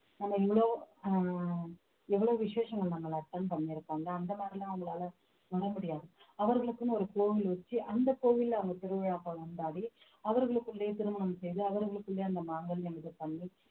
நம்ம இவ்ளோ ஆஹ் எவ்வளவு விசேஷங்கள் நாங்கள் attend பண்ணிருக்கோம்ல அந்த மாதிரிலாம் அவங்களால பண்ண முடியாது அவர்களுக்குன்னு ஒரு கோவில் வச்சு அந்த கோவில்ல அவங்க திருவிழாக்கள் கொண்டாடி அவர்களுக்குள்ளே திருமணம் செய்து அவர்களுக்குள்ளே அந்த மாங்கல்யம் இது பண்ணி